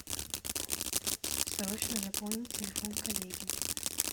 срочно запомнить телефон коллеги